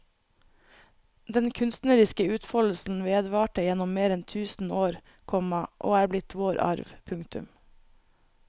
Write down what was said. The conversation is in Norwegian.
Den kunstneriske utfoldelsen vedvarte gjennom mer enn tusen år, komma og er blitt vår arv. punktum